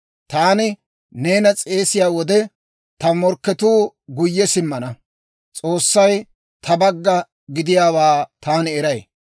Taani neena s'eesiyaa wode, ta morkketuu guyye simmana. S'oossay ta bagga gidiyaawaa taani eray.